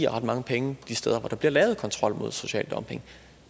ret mange penge de steder hvor der bliver lavet kontrol mod social dumping